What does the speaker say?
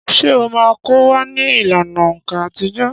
Ṣé ó máa kọ́ wa ní ìlànà òǹkà àtijọ́?